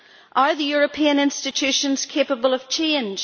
Are the European institutions capable of change?